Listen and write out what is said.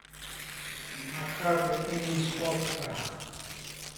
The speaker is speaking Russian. на карте имидж оптика